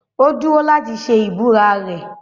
Ó dúró láti ṣe ìbúra rẹ̀.